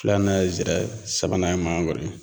Filanan ye zira ye, sabanan ye mangoro ye.